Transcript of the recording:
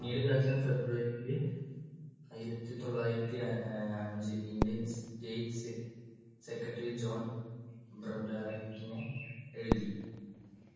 february യിൽ ആയിരത്തിതൊള്ളായിരത്തി അഹ് അഞ്ച് ഇന്ത്യൻ states secretary ജോൺ ബ്രോഡറികിനെ എഴുതി.